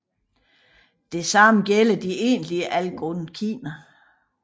Det samme gælder de egentlige algonkiner